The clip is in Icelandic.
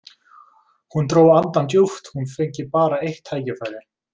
Hún dró andann djúpt, hún fengi bara eitt tækifæri.